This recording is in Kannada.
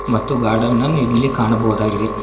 ಮತ್ತು ಗಾರ್ಡನ್ ಅನ್ನು ಇಲ್ಲಿ ಕಾಣಬಹುದಾಗಿದೆ.